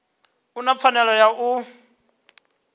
u na pfanelo ya u